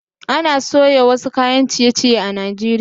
Ana soya wasu kayan ciye-ciye a Najeriya